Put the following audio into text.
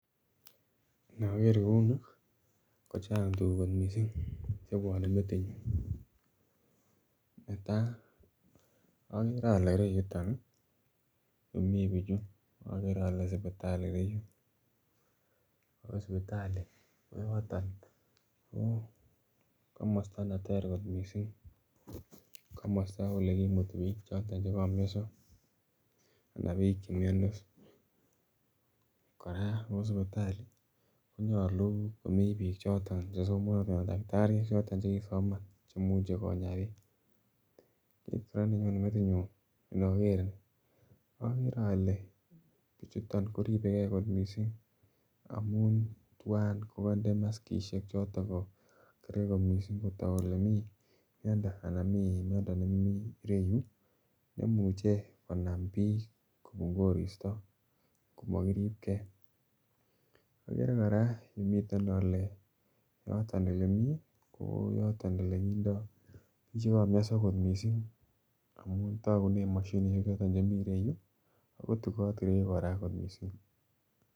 Intoker kouu Nii kochang tuguk kot missing chebwone metinyun, netaa ogere ole ireyuton ii yumii bichuu ogere ole sipitali ireyuu oo sipitali ko yoton komosto neter kot missing komosto ole kimutii biik choton che komioso ana biik che miondos. Koraa sipitali konyoluu ko mii biik choton kosomonotin anan takitariek choton che kii soman chemuche konyaa biik. Kit koraa nenyone metinyun inoger Nii ogere ole bichuton ko ribegee kot missing amun tuan ko konde maskisiek choton ko kerge kotok kolee mii miondo ana mii miondo nemie ireyu nemuche konam biik kopun koristo ngomo kiribgee, oger koraa yuu miten ole yoton ole mii ko yoton ole kindo che komyoso kot missing amun togunen moshinishek choton che mii ireyu Ako tugot ireyu koraa kot missing